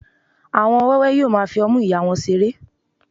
àwọn ọmọ wẹwẹ yíò ma fi ọmu ìyá wón seré